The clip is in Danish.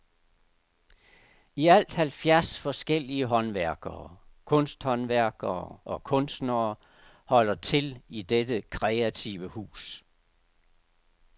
I alt halvfjerds forskellige håndværkere, kunsthåndværkere og kunstnere holder til i dette kreative hus.